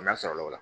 N'a sɔrɔla o la